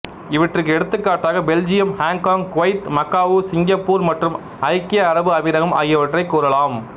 இவற்றிற்கு எடுத்துக்காட்டுகளாக Belgium Hong Kong Kuwait Macau Singapore மற்றும் ஐக்கிய அரபு அமீரகம் ஆகியவற்றைக் கூறலாம்